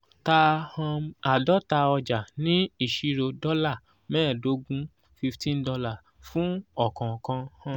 ta um àádọta ọjà ní ìṣirò dòla mẹ́ẹ̀ẹ́dógún fifteen dollar fún ọ̀kòòkan um